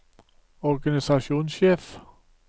organisasjonssjef